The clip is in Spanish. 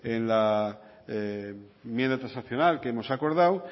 en la enmienda transaccional que hemos acordado